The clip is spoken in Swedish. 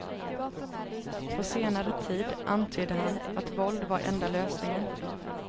På senare tid antydde han att våld var enda lösningen.